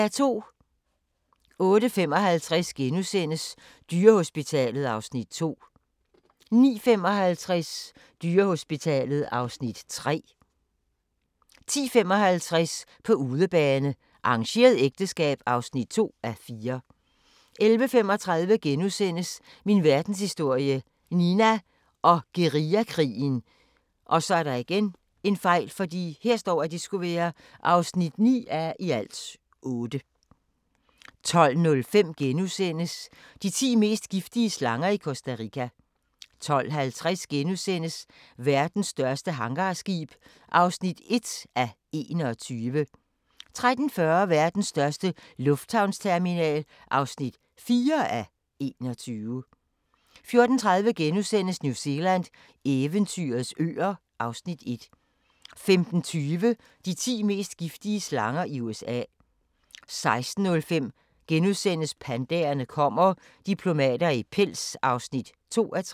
08:55: Dyrehospitalet (Afs. 2)* 09:55: Dyrehospitalet (Afs. 3) 10:55: På udebane: Arrangeret ægteskab (2:4) 11:35: Min verdenshistorie – Nina og guerillakrigen (9:8)* 12:05: De ti mest giftige slanger i Costa Rica * 12:50: Verdens største hangarskib (1:21)* 13:40: Verdens største lufthavnsterminal (4:21) 14:30: New Zealand – eventyrets øer (Afs. 1)* 15:20: De ti mest giftige slanger i USA 16:05: Pandaerne kommer – diplomater i pels (2:3)*